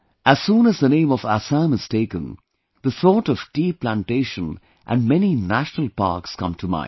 As soon as the name of Assam is taken, the thought of tea plantation and many national parks come to mind